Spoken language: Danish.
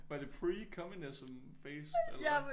Var det pre communism phase eller hvad